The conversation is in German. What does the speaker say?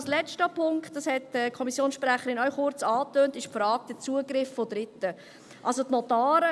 Der letzte Punkt – dies hat die Kommissionssprecherin auch kurz angetönt – ist die Frage des Zugriffs von Dritten, also der Notare.